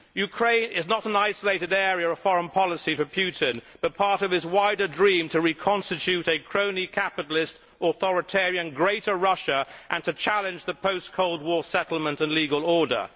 Ukraine is not an isolated area of foreign policy for Putin, but part of his wider dream to reconstitute a crony capitalist, authoritarian greater Russia and to challenge the post Cold War settlement and legal order.